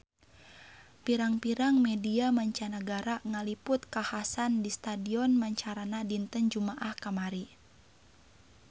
Pirang-pirang media mancanagara ngaliput kakhasan di Stadion Macarana dinten Jumaah kamari